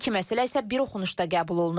İki məsələ isə bir oxunuşda qəbul olunub.